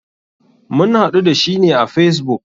Mun haɗu da shi ne a facebook.